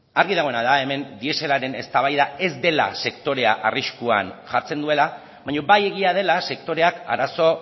argi dagoena da hemen dieselaren eztabaida ez dela sektorea arriskuan jartzen duela baina bai egia dela sektoreak arazo